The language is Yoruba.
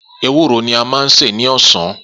Ewúro ni a máa sè ní ọ̀sán.